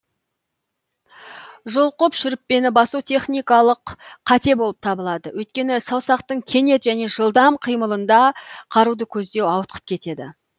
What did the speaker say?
жұлқып шүріппені басу техникалық қате болып табылады өйткені саусақтың кенет және жылдам қимылында қаруды көздеу ауытқып кетеді